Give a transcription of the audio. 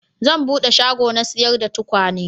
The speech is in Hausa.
Zan bude shago na sayar da tukwane